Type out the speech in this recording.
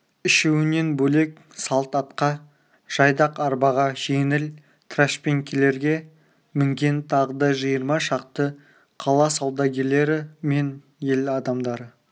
үшеуінен бөлек салт атқа жайдақ арбаға жеңіл трашпеңкелерге мінген тағы да жиырма шақты қала саудагерлері мен ел адамдары